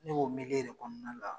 N' k'o me kɛ de kɔnɔna la.